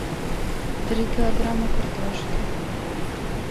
три килограмма картошки